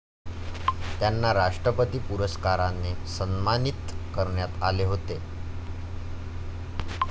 त्यांना राष्ट्रपती पुरस्काराने सन्मानित करण्यात आले होते.